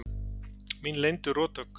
Mín leyndu rothögg.